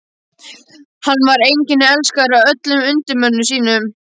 Hann var einnig elskaður af öllum undirmönnum sínum.